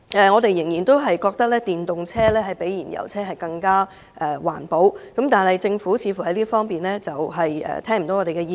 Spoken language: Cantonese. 我們仍然覺得電動車較燃油車環保，但政府似乎沒有聽取我們的意見。